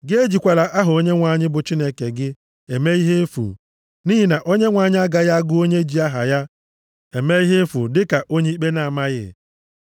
Gị ejikwala aha Onyenwe anyị bụ Chineke gị eme ihe efu, nʼihi na Onyenwe anyị agaghị agụ onye ji aha ya eme ihe efu dịka onye ikpe na-amaghị.